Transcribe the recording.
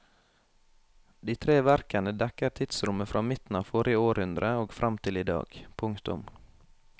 De tre verkene dekker tidsrommet fra midten av forrige århundre og frem til i dag. punktum